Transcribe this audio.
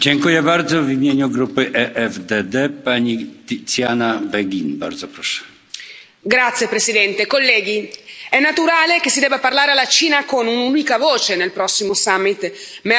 Signor Presidente, onorevoli colleghi, è naturale che si debba parlare alla Cina con un'unica voce nel prossimo summit, ma è altrettanto naturale che quella voce non possa essere solo quella dell'ipocrisia.